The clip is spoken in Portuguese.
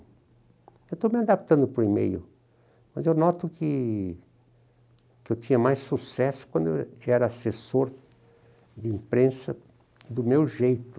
Eu estou me adaptando para o e-mail, mas eu noto que que eu tinha mais sucesso quando eu era assessor de imprensa do meu jeito.